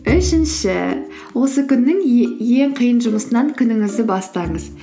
үшінші осы күннің ең қиын жұмысынан күніңізді бастаңыз